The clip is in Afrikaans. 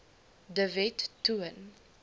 de wet toon